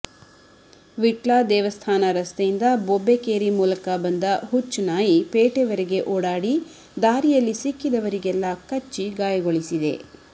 ವಿಟ್ಲ ದೇವಸ್ಥಾನ ರಸ್ತೆಯಿಂದ ಬೊಬ್ಬೆಕೇರಿ ಮೂಲಕ ಬಂದ ಹುಚ್ಚು ನಾಯಿ ಪೇಟೆವರೆಗೆ ಓಡಾಡಿ ದಾರಿಯಲ್ಲಿ ಸಿಕ್ಕಿದವರಿಗೆಲ್ಲ ಕಚ್ಚಿ ಗಾಯಗೊಳಿಸಿದೆ